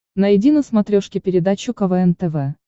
найди на смотрешке передачу квн тв